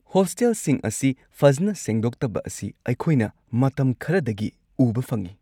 ꯍꯣꯁꯇꯦꯜꯁꯤꯡ ꯑꯁꯤ ꯐꯖꯅ ꯁꯦꯡꯗꯣꯛꯇꯕ ꯑꯁꯤ ꯑꯩꯈꯣꯏꯅ ꯃꯇꯝ ꯈꯔꯗꯒꯤ ꯎꯕ ꯐꯪꯉꯤ꯫